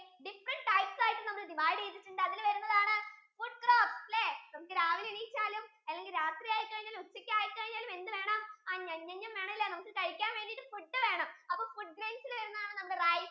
different types ആയിട്ട് നമ്മൾ divide ചെയ്‌തട്ടുണ്ട് അതില് വരുന്നതാണ് food crops ഇല്ലേ നമുക്ക് രാവിലെ എഴുന്നേറ്റാലും അല്ലെങ്കിൽ രാത്രി ആയി കഴിഞ്ഞാലും ഉച്ചക്ക് ആയി കഴിഞ്ഞാലും എന്ത് വേണം? ഞ്ഞം ഞ്ഞം ഞ്ഞം വേണല്ലേ നമുക്ക് കഴിക്കാൻ വേണ്ടീട് food വേണം അപ്പൊ food grains ഇൽ വരുന്നതാണ്